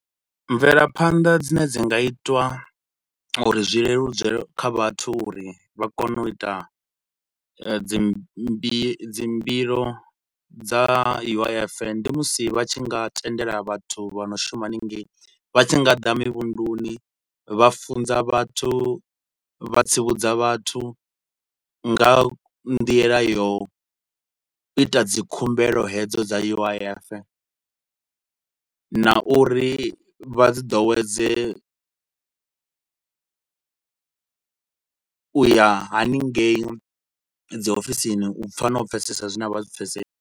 Mvelaphanḓa dzine dzi nga itwa uri zwi leludzelwe kha vhathu uri vha kone u ita dzimbi dzimbilo dza U_I_F ndi musi vha tshi nga tendela vhathu vha no shuma hanengei vha tshi nga ḓa mivhunduni, vha funza vhathu, vha tsivhudza vhathu nga ha nḓila ya u ita dzi khumbelo hedzo dza U_I_F na uri vha dzi ḓowedze u ya hanengei dzi ofisini, u pfa na u pfesesa zwi ne a vha zwi pfesesi.